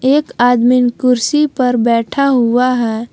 एक आदमी कुर्सी पे बैठा हुआ है।